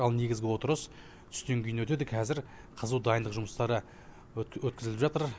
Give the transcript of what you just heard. ал негізгі отырыс түстен кейін өтеді кәзір қызу дайындық жұмыстары өткізіліп жатыр